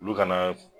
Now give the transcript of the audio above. Olu kana